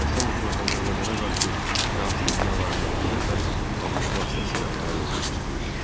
Ermənistan hökuməti Azərbaycana qarşı ərazi iddialarına bu dəfə ABŞ vasitəsilə nail olmaq istəyirdi.